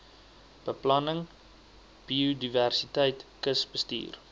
beplanning biodiversiteit kusbestuur